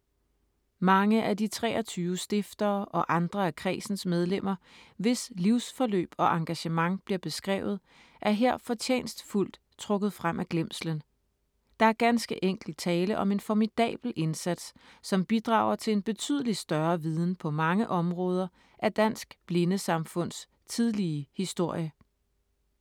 Mange af de 23 stiftere og andre af kredsens medlemmer, hvis livsforløb og engagement bliver beskrevet, er her fortjenstfuldt trukket frem af glemslen. Der er ganske enkelt tale om en formidabel indsats, som bidrager til en betydelig større viden på mange områder af Dansk Blindesamfunds tidlige historie.